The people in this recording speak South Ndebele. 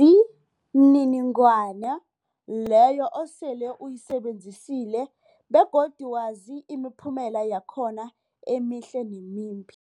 Ilwazi mniningwana leyo osele uyisebenzisile begodu wazi imiphumela yakhona emihle nemimbi.